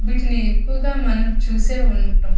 వీటిని ఎక్కువుగా మనం చూసే ఉంటాం.